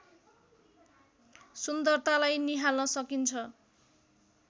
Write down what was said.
सुन्दरतालाई निहाल्न सकिन्छ